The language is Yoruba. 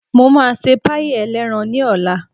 Mo máa ṣe páàì ẹlẹ́ran ní ọ̀la